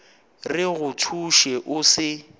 re go thuše o se